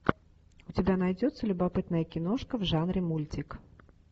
у тебя найдется любопытная киношка в жанре мультик